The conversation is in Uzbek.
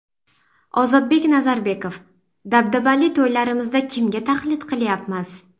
Ozodbek Nazarbekov: Dabdabali to‘ylarimizda kimga taqlid qilyapmiz?